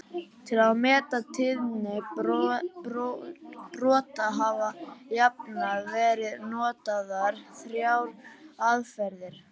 Til að meta tíðni brota hafa jafnan verið notaðar þrjár aðferðir.